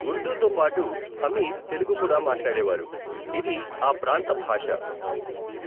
ఉర్దూతో పాటు, హమీద్ తెలుగు కూడా మాట్లాడేవారు, ఇది ఆ ప్రాంత భాష.